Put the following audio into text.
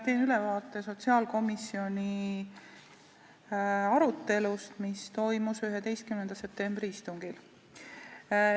Teen ülevaate sotsiaalkomisjoni arutelust, mis toimus 11. septembri istungil.